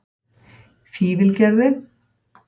Fífilgerði